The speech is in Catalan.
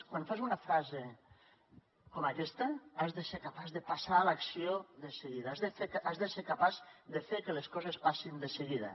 quan fas una frase com aquesta has de ser capaç de passar a l’acció de seguida has de ser capaç de fer que les coses passin de seguida